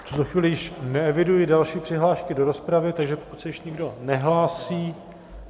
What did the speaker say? V tuto chvíli již neeviduji další přihlášky do rozpravy, takže pokud se již nikdo nehlásí...